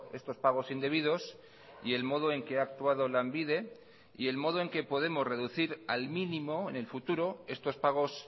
estos pagos indebidos y el modo en que ha actuado lanbide y el modo en que podemos reducir al mínimo en el futuro estos pagos